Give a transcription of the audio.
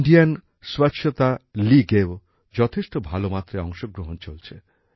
Indian স্বচ্ছতা লীগেও যথেষ্ঠ ভালো মাত্রায় অংশগ্রহণ চলছে